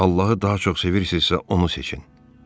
Allahı daha çox sevirsinizsə, onu seçin.